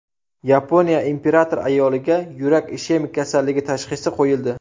Yaponiya imperator ayoliga yurak ishemik kasalligi tashxisi qo‘yildi.